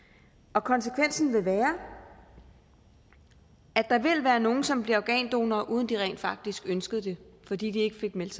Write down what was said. konsekvensen vil være at der vil være nogle som bliver organdonorer uden at de rent faktisk ønskede det fordi de ikke fik meldt